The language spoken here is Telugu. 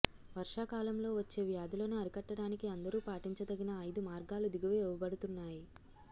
వర్షాకాలంలో వచ్చే వ్యాధులను అరికట్టటానికి అందరూ పాటించదగిన అయిదు మార్గాలు దిగువ ఇవ్వబడుతున్నాయి